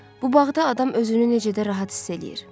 Bu bağda adam özünü necə də rahat hiss eləyir.